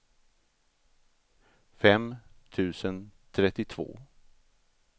fem tusen trettiotvå